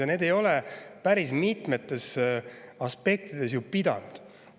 Ja need ei ole päris mitmetes aspektides ju pidanud.